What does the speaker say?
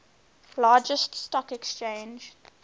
largest stock exchange